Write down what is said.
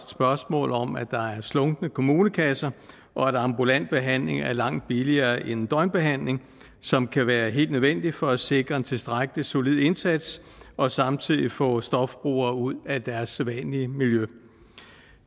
spørgsmål om at der er slunkne kommunekasser og at ambulant behandling er langt billigere end døgnbehandling som kan være helt nødvendig for at sikre en tilstrækkelig solid indsats og samtidig få stofbrugere ud af deres sædvanlige miljø